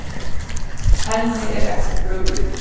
Henni er ekki brugðið.